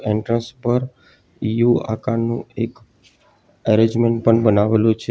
Entrance પર U આકારનું એક એરેન્જમેન્ટ પણ બનાવેલું છે.